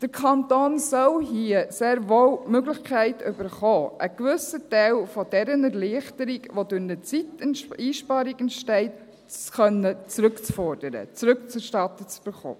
Der Kanton soll hier sehr wohl die Möglichkeit erhalten, einen gewissen Teil dieser Erleichterung, die durch eine Zeiteinsparung entsteht, zurückfordern zu können und rückerstattet zu bekommen.